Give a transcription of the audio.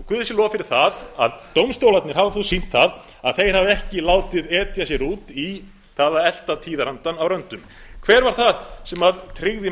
og guði sé lof fyrir það að dómstólarnir hafa þó sýnt það að þeir hafa ekki látið etja sér út í það að elta tíðarandann á röndumsem tryggði